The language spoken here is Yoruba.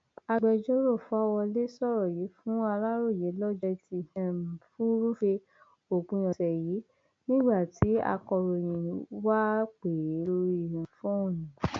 agbẹjọrò fáwọlé sọrọ yìí fún aláròye lọjọ etí um furuufee òpin ọsẹ yìí nígbà tí akọròyìn wá pè é lórí um fóònù